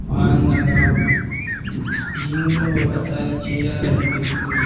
ఆనందంగా ఉంది జిమ్మును ఒకసారి చేయాలనిపిసుంది.